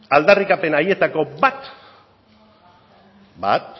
aldarrikapen haietako bat